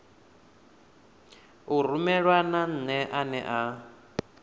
u rumelwa nane ane a